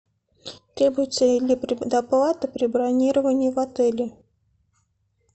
требуется ли предоплата при бронировании в отеле